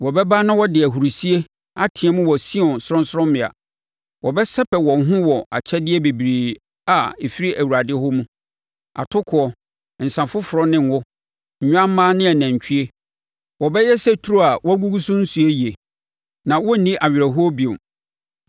Wɔbɛba na wɔde ahurisie ateam wɔ Sion sorɔnsorɔmmea; wɔbɛsɛpɛ wɔn ho wɔ akyɛdeɛ bebrebe a ɛfiri Awurade hɔ mu, atokoɔ, nsã foforɔ ne ngo, nnwammaa ne anantwie. Wɔbɛyɛ sɛ turo a wɔagugu so nsuo yie, na wɔrenni awerɛhoɔ bio.